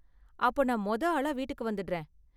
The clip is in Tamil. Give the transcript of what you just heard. அப்போ நான் மொத ஆளா வீட்டுக்கு வந்திடுறேன்.